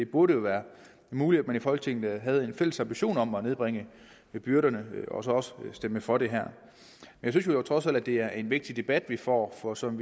burde være muligt i folketinget at have en fælles ambition om at nedbringe byrderne og så også stemme for det her jeg synes jo trods alt det er en vigtig debat vi får for som